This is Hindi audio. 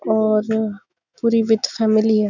और पूरी विथ फॅमिली है।